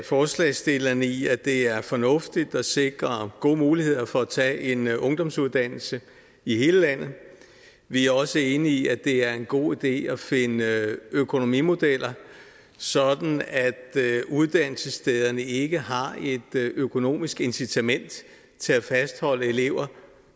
forslagsstillerne i at det er fornuftigt at sikre gode muligheder for at tage en ungdomsuddannelse i hele landet vi er også enige i at det er en god idé at finde økonomimodeller sådan at uddannelsesstederne ikke har et økonomisk incitament til at fastholde elever